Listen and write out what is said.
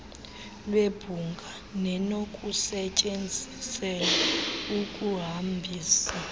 lwebhunga nenokusetyenziselwa ukuhambisa